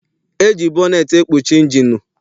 E ji bọneetị ekpuchi injinụ.